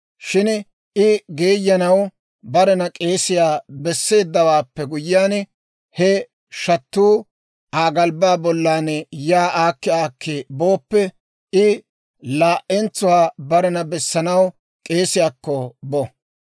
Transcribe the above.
Shin I geeyanaw barena k'eesiyaa besseeddawaappe guyyiyaan, he shattuu Aa galbbaa bollan yaa aakki aakki booppe, I laa"entsuwaa barena bessanaw k'eesiyaakko bo.